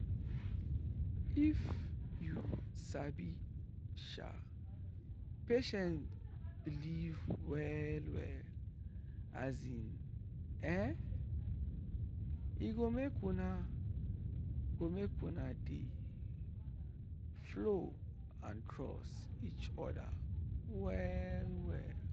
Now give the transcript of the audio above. if yu sabi um patient belief well-well [um][um]e go make una go make una dey um flow and trust each other well-well.